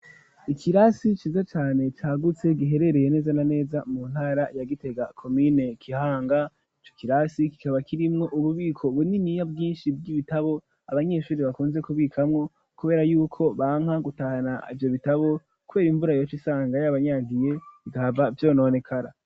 Ikirasi ciza cane cagutse, giherereye neza na neza mu ntara ya gitega ,komine kihanga ,co kirasi kikaba kirimwo ububiko buniniya bwinshi bw'ibitabo ,abanyeshuri bakunze kubikamwo ,kubera yuko banka gutahana ivyo bitabo, kubera imvura yoc' isanga y'abanyagiye igahava vyononekara.